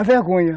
A vergonha.